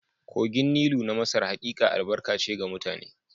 Kogin Nilu na Masar hakika albarka ce ga mutane